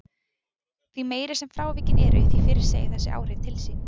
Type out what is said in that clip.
Því meiri sem frávikin eru því fyrr segja þessi áhrif til sín.